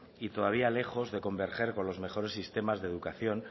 y todavía lejos de converger con los mejores sistemas de educación